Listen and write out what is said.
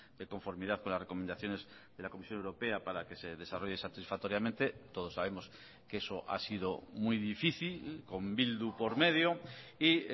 de conformidad con las recomendaciones de la comisión europea para que se desarrolle satisfactoriamente todos sabemos que eso ha sido muy difícil con bildu por medio y